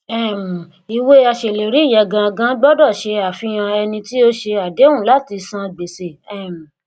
um ìwé aṣèlérí yẹn ganan gbọdọ ṣe àfihàn ẹni tí ó ṣe àdéhùn láti san gbèsè um